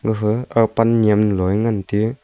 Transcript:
pha ag pan nyem loi ngan teyu.